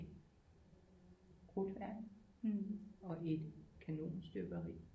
Krudtværk og et kanonstøberi